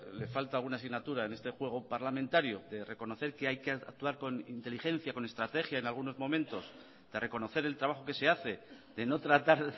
le falta alguna asignatura en este juego parlamentario de reconocer que hay que actuar con inteligencia con estrategia en algunos momentos de reconocer el trabajo que se hace de no tratar